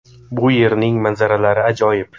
Bu yerning manzaralari ajoyib.